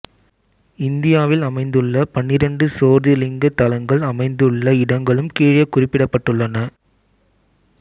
இந்தியாவில் அமைந்துள்ள பன்னிரெண்டு சோதிர்லிங்க தலங்கள் அமைந்துள்ள இடங்களும் கீழே குறிப்பிடப்பட்டுள்ளன